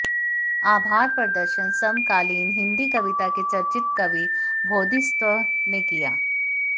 आभार प्रदर्शन समकालीन हिंदी कविता के चर्चित कवि बोधिसत्व ने किया